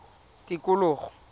tikologo